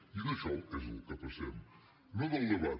i d’això és del que passem no del debat